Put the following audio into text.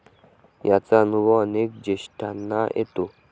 याचा अनुभव अनेक ज्येष्ठांना येतो.